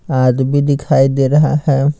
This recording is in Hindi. आदमी भी दिखाई दे रहा है।